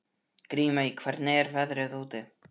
Grímey, hvernig er veðrið úti?